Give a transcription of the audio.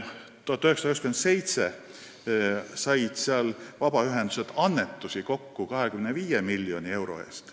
1997. aastal said seal vabaühendused annetusi kokku 25 miljoni euro eest.